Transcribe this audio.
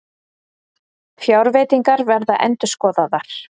Fjárveitingar verða endurskoðaðar